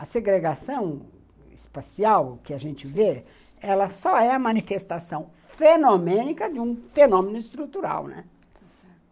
A segregação espacial que a gente vê, ela só é a manifestação fenomênica de um fenômeno estrutural, né?